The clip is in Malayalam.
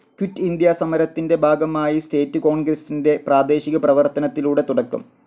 ക്വിറ്റ്‌ ഇന്ത്യ സമരത്തിൻ്റെ ഭാഗമായി സ്റ്റേറ്റ്‌ കോൺഗ്രസ്സിൻ്റെ പ്രാദേശിക പ്രവർത്തനത്തിലൂടെ തുടക്കം.